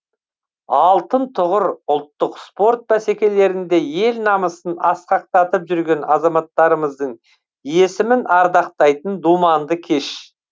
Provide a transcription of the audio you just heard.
алтын тұғыр ұлттық спорт бәсекелерінде ел намысын асқақтатып жүрген азаматтарымыздың есімін ардақтайтын думанды кеш